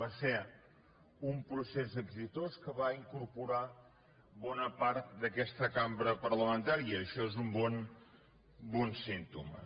va ser un procés exitós que va incorporar bona part d’aquesta cambra parlamentaria i això és un bon símptoma